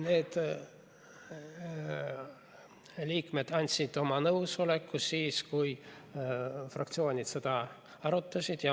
Need liikmed andsid oma nõusoleku siis, kui fraktsioonid seda arutasid.